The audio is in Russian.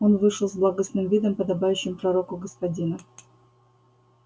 он вышел с благостным видом подобающим пророку господина